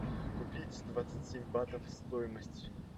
купить двадцать семь батов стоимость